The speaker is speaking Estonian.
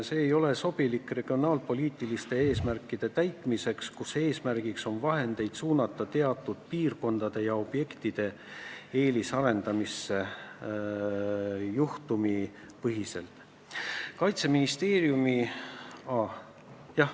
See ei ole sobilik regionaalpoliitiliste eesmärkide täitmiseks, kui soovitakse vahendeid suunata teatud piirkondade ja objektide eelisarendamisse juhtumipõhiselt.